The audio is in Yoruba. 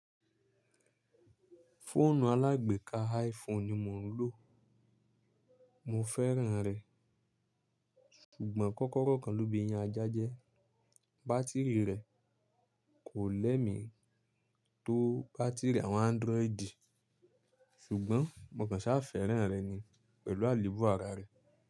Fóònù alágbèká iPhone ni mò ń lò. Mo fẹ́ràn rẹ̀, ṣùgbọ́n kọ́kọ́rọ́ kan ló ba eyin ajájẹ́. Bátìrì rẹ̀ kò lẹ́mi tó bátìrì àwọn Android ṣùgbọ́n mò kàn sá fẹ́ràn rẹ̀ ni pẹ̀lú àlébù ara rẹ̀.